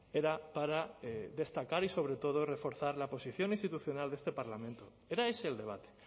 era para destacar y sobre todo reforzar la posición institucional de este parlamento era ese el debate